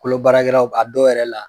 Kolo baarakɛlaw a dɔ yɛrɛ la